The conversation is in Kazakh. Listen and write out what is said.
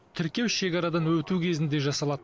тіркеу шекарадан өту кезінде жасалады